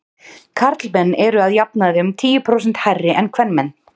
karlmenn eru að jafnaði um tíu prósent hærri en kvenmenn